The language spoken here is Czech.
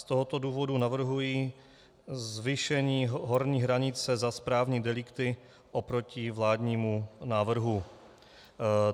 Z tohoto důvodu navrhuji zvýšení horní hranice za správní delikty oproti vládnímu návrhu.